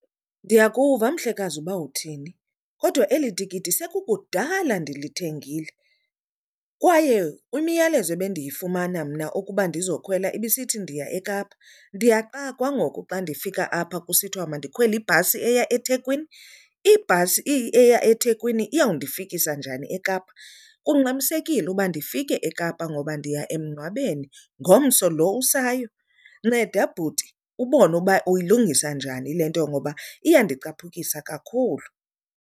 Ndiyakuva mhlekazi uba uthini kodwa eli tikiti sekukudala ndilithengile, kwaye imiyalezo ebendiyifumana mna ukuba ndizokhwela ibisithi ndiya eKapa. Ndiyaxakwa ngoku xa ndifika apha kusithiwa mandikhwele ibhasi eya eThekwini. Ibhasi eya eThekwini iyawundifikisa njani eKapa? Kungxamisekile uba ndifike eKapa ngoba ndiya emngcwabeni ngomso lo usayo. Nceda bhuti ubone uba uyilungisa njani le nto ngoba iyandicapukisa kakhulu.